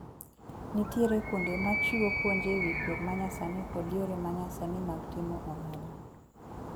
Nitiere kuonde machiwo puonj ewi pur manyasani kod yore manyasani mag timo ohala.